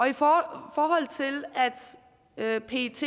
i forhold til at pets